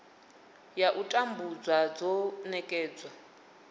ya u tambudzwa dzo nekedzwa